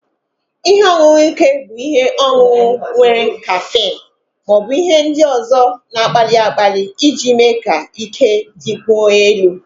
Ihe ọṅụṅụ ike bụ ihe ọṅụṅụ nwere kaffeine ma ọ bụ ihe ndị ọzọ na-akpali akpali iji mee ka ike dịkwuo elu